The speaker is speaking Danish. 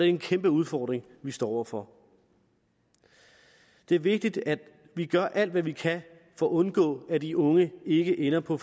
en kæmpe udfordring vi står over for det er vigtigt at vi gør alt hvad vi kan for at undgå at de unge ikke ender på